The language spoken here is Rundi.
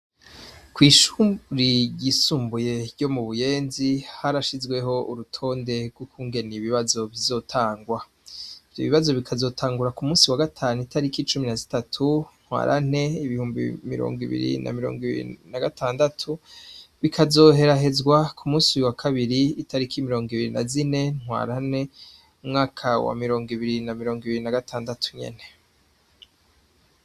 Kw'ishuri ryisumbuye ruo mu Buyenzi, harashizweho urutonde rw'ukungene ibibazo bizotangwa. Ivyo bibazo bikazotangura ku musi wa gatanu itariki cumi na zitatu ntwarante, ibihumbi mirongo ibiri na mirongo ibiri na gatandatu, bikazoherahezwa ku musi wa kabiri itariki mirongo ibiri na zine ntwarante, umwaka wa mirongo ibiri na mirongo ibiri na gatangatu nyene.